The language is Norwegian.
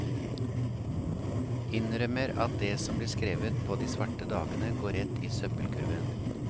Innrømmer at det som blir skrevet på de svarte dagene går rett i søppelkurven.